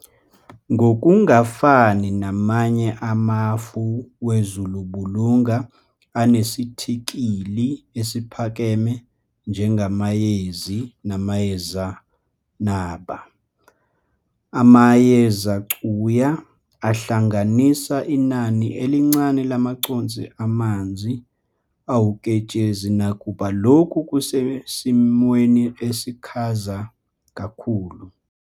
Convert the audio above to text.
Ngokungafani namanye amafu wezulumbulunga anesithikili esiphakeme njengamayezi namayezenaba, amayezecuya ahlanganisa inani elincane lamaconsi amanzi awuketshezi, nakuba lokhu kusesimweni esikhaza kakhulu.